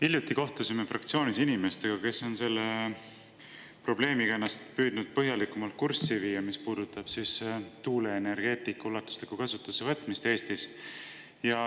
Hiljuti kohtusime fraktsioonis inimestega, kes on selle probleemiga püüdnud ennast põhjalikumalt kurssi viia, mis puudutab tuuleenergia ulatuslikku kasutusele võtmist Eestis.